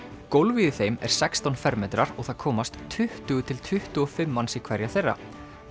gólfið í þeim er sextán fermetrar og það komast tuttugu til tuttugu og fimm manns í hverja þeirra